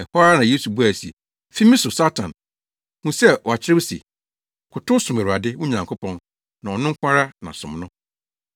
Ɛhɔ ara na Yesu buae se, “Fi me so, Satan! Hu sɛ wɔakyerɛw se, ‘Kotow som Awurade, wo Nyankopɔn, na ɔno nko ara na som no.’ ”